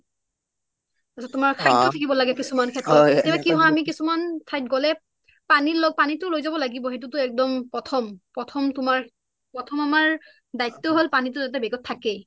তাৰ পিছত তোমাৰ খাদ্য থাকিব লাগে কিছুমান ক্ষেত্ৰত তাৰ মানে কি হয় কিছুমান ঠাইত গলে পানীটো লৈ যাব লাগিবই সেইটোটো প্ৰথম তোমাৰ, প্ৰথম আমাৰ দায়িত্ব হল পানীটো যাতে আমাৰ bag ত থাকেই